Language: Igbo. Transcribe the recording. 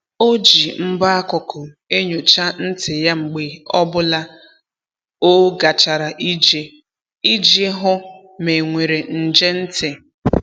O ji mbọ akụkụ enyocha ntị ya mgbe ọ bụla o gachara ije iji hụ ma e nwere nje ntị.